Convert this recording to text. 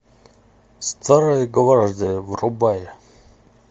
старая гвардия врубай